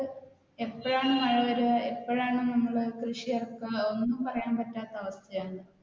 എപ്പഴാണ് മഴ വരുക എപ്പഴാണ് നമ്മൾ കൃഷി ഇറക്കുക അതൊന്നും പറയാൻ പറ്റാത്ത അവസ്ഥയാണ്.